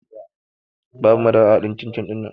Babu madara a haɗin cin-cin ɗinnan